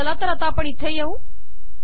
चला तर आता इथे येऊ